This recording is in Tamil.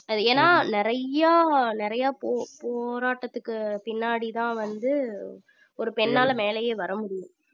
அது ஏன்னா நிறைய நிறைய போ~ போராட்டத்துக்கு பின்னாடிதான் வந்து, ஒரு பெண்ணால மேலயே வர முடியும்